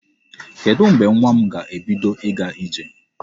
Kedụ mgbe nwa m ga-ebido ịga ije?